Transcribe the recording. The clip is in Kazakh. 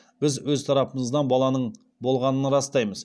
біз өз тарапымыздан баланың болғанын растаймыз